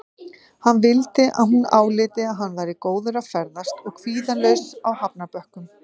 Hann vildi að hún áliti að hann væri góður að ferðast og kvíðalaus á hafnarbökkum.